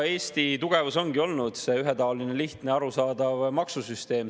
Eesti tugevus ongi olnud ühetaoline, lihtne ja arusaadav maksusüsteem.